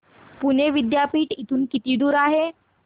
पुणे विद्यापीठ इथून किती दूर आहे